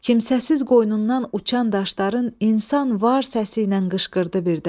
Kimsəsiz qoynundan uçan daşların insan var səsi ilə qışqırdı birdən.